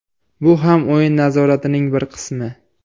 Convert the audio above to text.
Bu ham o‘yin nazoratining bir qismi.